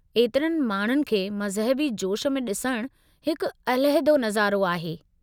ऐतिरनि माण्हुनि खे मज़हबी जोश में ॾिसणु हिकु अलहदो निज़ारो आहे।